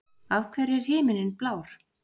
Af hverju er himinninn blár?